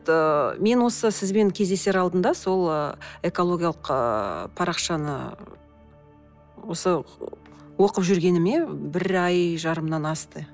ыыы мен осы сізбен кездесер алдында сол ыыы экологиялық ыыы парақшаны осы оқып жүргеніме бір ай жарымнан асты